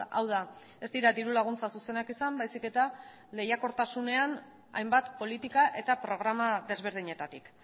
hau da ez dira diru laguntza zuzenak izan baizik eta lehiakortasunean hainbat politika eta programa desberdinetatik